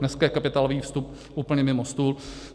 Dneska je kapitálový vstup úplně mimo stůl.